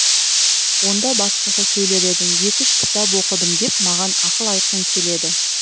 онда басқаша сөйлер едің екі үш кітап оқыдым деп маған ақыл айтқың келеді